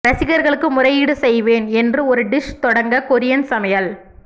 ரசிகர்களுக்கு முறையீடு செய்வேன் என்று ஒரு டிஷ் தொடங்க கொரியன் சமையல்